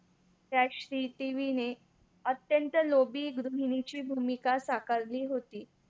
त्या श्रीदेवीने अत्यंत लोभी गृहिणीची भूमिका साकारली होती.